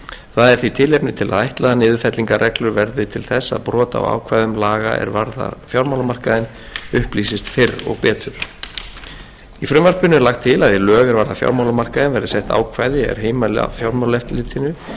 það er því tilefni til að ætla að niðurfellingarreglur verði til þess að brot á ákvæðum laga er varða fjármálamarkaðinn upplýsist fyrr og betur í frumvarpinu er lagt til að í lög er varða fjármálamarkaðinn verði sett ákvæði er heimila fjármálaeftirlitinu